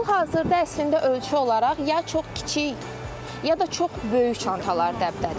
Hal-hazırda əslində ölçü olaraq ya çox kiçik ya da çox böyük çantalar dəbdədir.